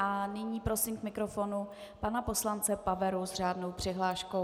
A nyní prosím k mikrofonu pana poslance Paveru s řádnou přihláškou.